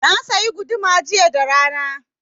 Na sayi guduma jiya da rana.